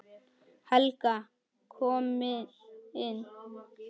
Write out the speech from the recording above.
Helga kom inn.